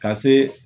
Ka se